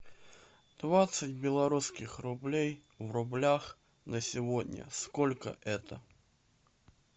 двадцать белорусских рублей в рублях на сегодня сколько это